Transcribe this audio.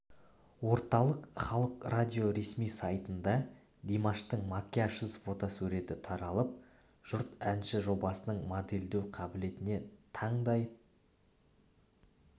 орталық халық радио ресми сайтында димаштың макияжсыз фотосуреті таралып жұрт әнші жобасының модельдеу қабілетіне таңдай